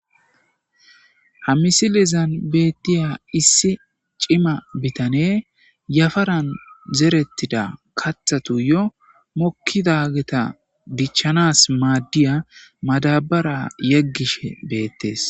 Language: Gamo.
Ha misilen zan betiza issi cima yafaran zerethati mokidageta dichanas madiza madabara yegishe bettes